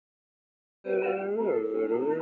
Veðrið var milt, þrátt fyrir broddinn í morgunkulinu.